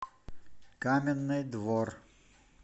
каменный двор